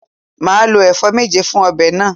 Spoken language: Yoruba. Màá lo èfó méje fun obè náà